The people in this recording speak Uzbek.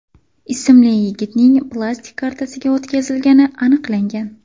ismli yigitning plastik kartasiga o‘tkazilgani aniqlangan.